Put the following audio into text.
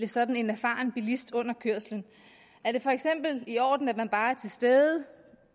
sådan erfaren bilist under kørslen er det for eksempel i orden at man bare er til stede